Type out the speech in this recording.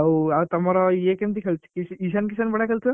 ଆଉ ଆଉ ତମର ଇଏ କେମିତି ଖେଳୁଛି କି କିଶାନ କିଶନ ବଢିଆ ଖେଳୁଛି ତ?